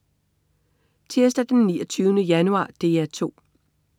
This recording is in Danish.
Tirsdag den 29. januar - DR 2: